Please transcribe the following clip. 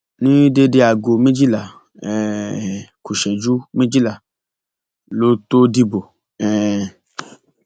ní déédé aago méjìlá um ku ìṣẹjú méjìlá ló tóó dìbò um